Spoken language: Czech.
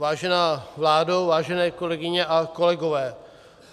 Vážená vládo, vážené kolegyně a kolegové.